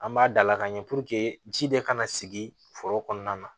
An b'a dalakan ɲɛ puruke ji de kana sigi foro kɔnɔna na